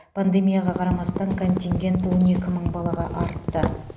пандемияға қарамастан контингент он екі мың балаға артты